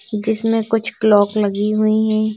जिसमें कुछ क्लॉक लगी हुई है।